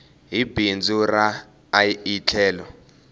hi bindzu ra ie tlhelo